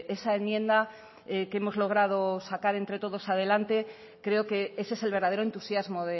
esa enmienda que hemos logrado sacar entre todos adelante creo que ese es el verdadero entusiasmo